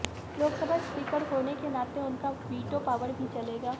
Lok Sabha speaker होने के नाते उनका वीटो पॉवर भी चलेगा